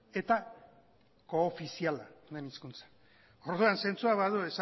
eta koofiziala den hizkuntza orduan zentzua badu